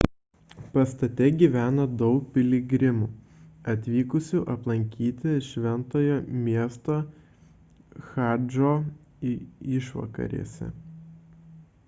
pastate gyveno daug piligrimų atvykusių aplankyti šventojo miesto chadžo išvakarėse